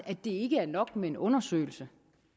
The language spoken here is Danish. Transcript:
at det ikke er nok med en undersøgelse